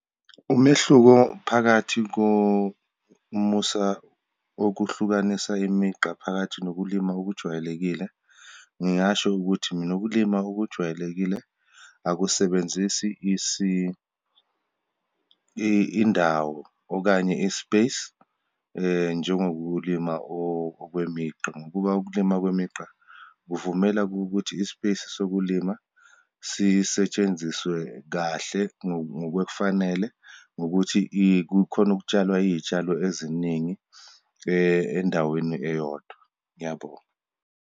Umehluko phakathi komusa wokuhlukanisa imigqa phakathi nokulima okujwayelekile. Ngingasho ukuthi mina, ukulima okujwayelekile akusebenzisi indawo okanye i-space, njengokulima okwemigqa, ngokuba ukulima kwemigqa kuvumela kuwukuthi i-space sokulima sisetshenziswe kahle ngokwefanele ngokuthi kukhona ukutshalwa iyishalo eziningi endaweni eyodwa. Ngiyabonga.